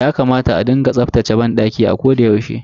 Yakamata a rika tsaftace banɗaki a koda yaushe.